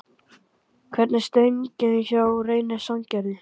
Hvernig er stemningin hjá Reyni Sandgerði?